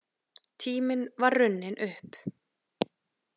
Tíminn var runninn upp.